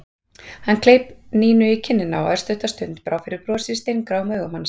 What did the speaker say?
Hann kleip Nínu í kinnina og örstutta stund brá fyrir brosi í steingráum augum hans.